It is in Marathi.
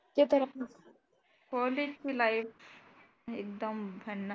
ते तर हो तेच लाईफ एकदम भन्ना